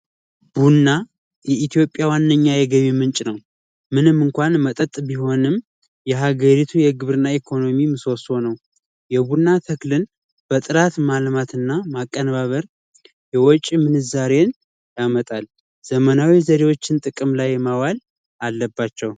ቡና የኢትዮጵያ ዋነኛ የገቢ ምንጭ ነው። ምንም እንኳን መጠጥ ቢሆንም የሀገሪቱ የግብርና ኢኮኖሚ ምሰሶ ነው። የቡና ተክልን በስርዓት ማልማት እና ማቀነባበር የወጪ ምንዛሬን ያመጣል። ዘመናዊ ዘዴዎችን ጥቅም ላይ ማዋል አለባቸው።